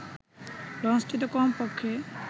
লঞ্চটিতে কমপক্ষে